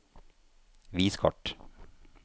vis kart